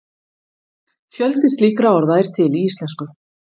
fjöldi slíkra orða er til í íslensku